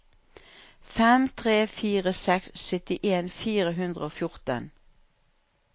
fem tre fire seks syttien fire hundre og fjorten